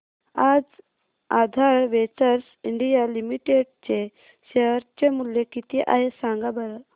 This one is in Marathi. आज आधार वेंचर्स इंडिया लिमिटेड चे शेअर चे मूल्य किती आहे सांगा बरं